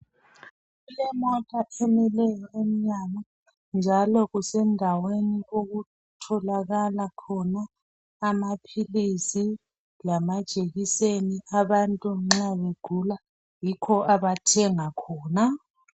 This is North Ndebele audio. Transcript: Kulemota emileyo emnyango, njalo kusendaweni okutholakala khona amaphilisi lamajekiseni Abantu nxa begula yikho abathenga khona.